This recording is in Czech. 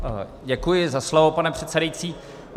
Děkuji za slovo, pane předsedající.